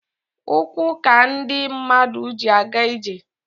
Ụkwụ ka ndị mmadụ ji aga ije.